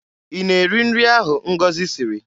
Ị na-eri nri ahụ Ngọzi siri?